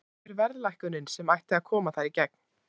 Hvar er verðlækkunin sem ætti að koma þar í gegn?